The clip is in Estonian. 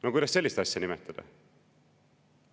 " No kuidas sellist asja nimetada?